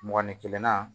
Mɔgɔni kelen na